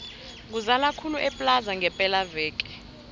kuzala khulu eplaza ngepela veke